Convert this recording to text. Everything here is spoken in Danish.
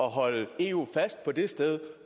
at holde eu fast på det sted